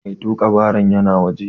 Mai tuƙa baron yana waje.